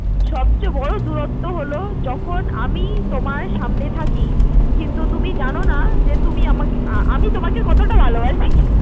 সবচেয়ে বড় দুরত্ব হল যখন আমি তোমার সামনে থাকি কিন্তু তুমি জানো না তুমি আমাকে~আমি তোমাকে কতটা ভালোবাসি